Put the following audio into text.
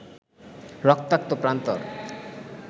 রক্তাক্ত প্রান্তর